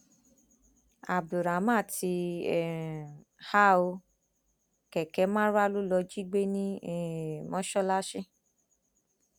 abdulrahman ti um há ọ kẹkẹ marwa ló lọọ jí gbé ní um mọsáláàsì